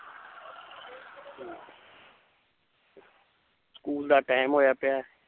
School ਦਾ time ਹੋਇਆ ਪਿਆ ਹੈ l